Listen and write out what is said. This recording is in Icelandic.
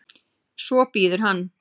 Svo bíður hann.